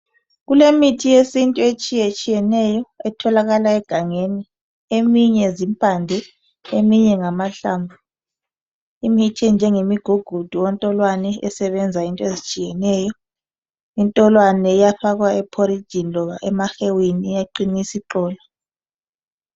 kulemithi yesintu etshiyetshiyeneyo etholakala egangeni eminye zimpande eminye ngamahlamvu imithi enjenge ngemigugudu ontolwane esebenza izinto ezitshiyeneyo intolwane iyafakwa e porijini loba emahewini iyaqinisa iqolo